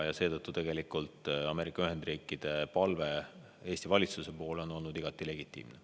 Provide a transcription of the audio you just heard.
Ja seetõttu on Ameerika Ühendriikide palve Eesti valitsusele olnud igati legitiimne.